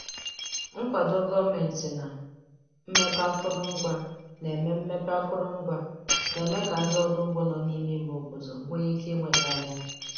Nkwado gọọmentị na mmepe akụrụngwa na-eme mmepe akụrụngwa na-eme ka ndị ọrụ ugbo nọ n'ime ime obodo nwee ike ịnweta ahịa.